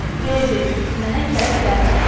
Ver dedim, mənə kələk gəlmə.